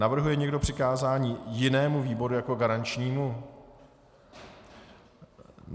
Navrhuje někdo přikázání jinému výboru jako garančnímu?